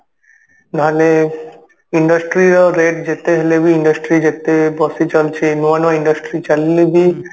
ନହେଲେ industry ର rate ଯେତେ ହେଲେ ବି industry ଯେତେ ବର୍ଷ ଚାଲୁଛି ନୂଆ ନୂଆ industry ଚାଲିଲେ ବି